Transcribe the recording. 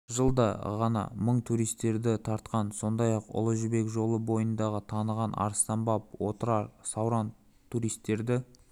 жылда ғана мың туристерді тартқан сондай-ақ ұлы жібек жолы бойындағы таныған арыстан-баб отырар сауран туристерді